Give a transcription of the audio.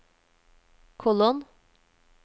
kolon